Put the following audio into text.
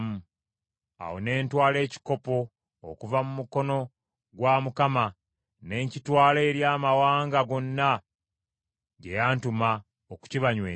Awo ne ntwala ekikopo okuva mu Mukono gwa Mukama ne nkitwala eri amawanga gonna gye yantuma okukibanywesa;